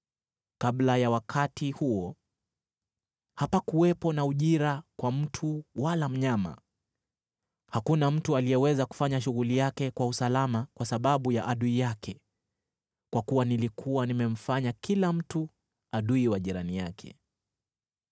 Kabla ya wakati huo, hapakuwepo na ujira kwa mtu wala mnyama. Hakuna mtu aliyeweza kufanya shughuli yake kwa usalama kwa sababu ya adui yake, kwa kuwa nilikuwa nimemfanya kila mtu adui wa jirani yake.